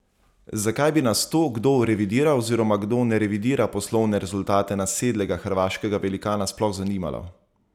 Zakaj bi nas to, kdo revidira oziroma kdo ne revidira poslovne rezultate nasedlega hrvaškega velikana, sploh zanimalo?